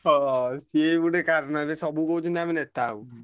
ହଁ ସିଏ ଗୋଟେ କାରଣ ଏବେ ସବୁ କହୁଛନ୍ତି ଆମେ ନେତା ହବୁ।